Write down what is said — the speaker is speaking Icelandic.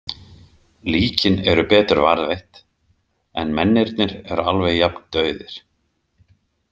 Líkin eru betur varðveitt en mennirnir eru alveg jafn dauðir.